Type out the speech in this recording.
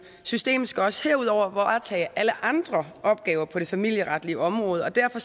system skal også herudover varetage alle andre opgaver på det familieretlige område derfor